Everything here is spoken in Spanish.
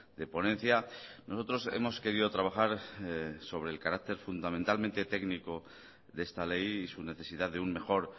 de ponencia nosotros hemos querido trabajar sobre el carácter fundamentalmente técnico de esta ley y su necesidad de un mejor